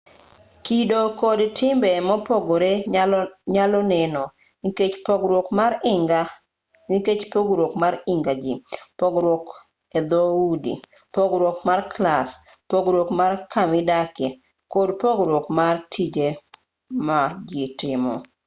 kido kod timbe mopogre nyalo neno nikech pogruok mar higa jii pogruok edhoudi pogruok mar clas pogruok mar kamidakie kod pogruok mar tije maji timo